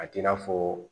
A t'i n'a fɔ